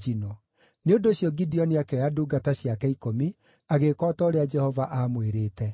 Nĩ ũndũ ũcio Gideoni akĩoya ndungata ciake ikũmi, agĩĩka o ta ũrĩa Jehova aamwĩrĩte.